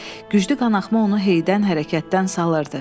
Güclü qanaxma onu heydən, hərəkətdən salırdı.